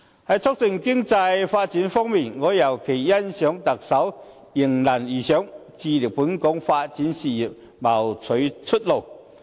在促進經濟發展方面，我尤其欣賞特首能迎難而上，致力為本港的發展事業謀取出路。